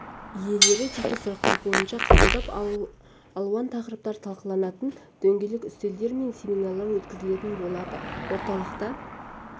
иелері жеке сұрақтары бойынша қабылдап алуан тақырыптар талқыланатын дөңгелек үстелдер мен семинарлар өткізілетін болады орталықта